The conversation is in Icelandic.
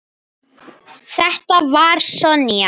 Þetta var Sonja.